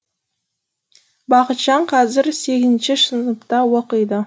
бақытжан қазір сегізінші оқиды